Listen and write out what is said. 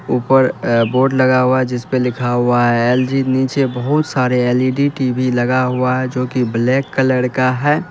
ऊपर अ बोर्ड लगा हुआ है जिसपर लिखा हुआ है एल_जी नीचे बहुत सारे एल_इ_डी टी_वी लगा हुआ है जो की ब्लैक कलर का है।